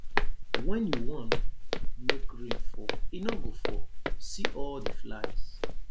when you wan make rain fall e no go fall see all the flies